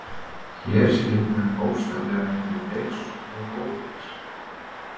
Hér skildi hann bókstaflega milli feigs og ófeigs.